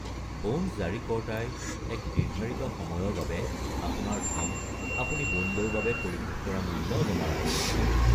Bond জাৰীকৰ্তাই এক নিৰ্ধাৰিত সময়ৰ বাবে আপোনাৰ ধন, আপুনি বণ্ডৰ বাবে পৰিশোধ কৰা মূল্য জমা ৰাখে।